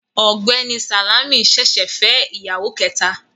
Ọ̀gbẹ́ni Sàlámì ṣẹ̀ṣẹ̀ fẹ́ ìyàwó kẹta